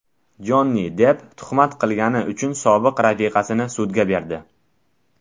Jonni Depp tuhmat qilgani uchun sobiq rafiqasini sudga berdi.